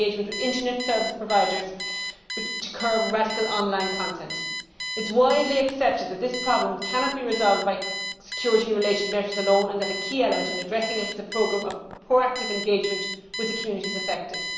and engagement with internet service providers to curb radical on line content. It is widely accepted that this problem cannot be resolved by security related measures alone and that a key issue in addressing it is a programme of proactive engagement with the communities affected.